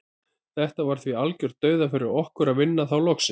Þetta var því algjört dauðafæri fyrir okkur að vinna þá loksins.